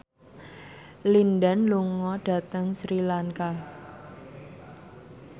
Lin Dan lunga dhateng Sri Lanka